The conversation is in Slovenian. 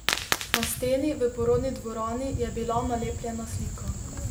Na steni v porodni dvorani je bila nalepljena slika.